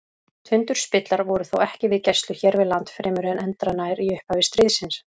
Tundurspillar voru þó ekki við gæslu hér við land fremur en endranær í upphafi stríðsins.